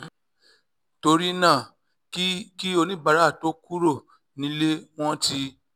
torí náà kí kí oníbàárà tó kúrò nílé wọ́n ti